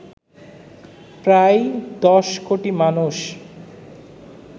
প্রায় ১০ কোটি মানুষ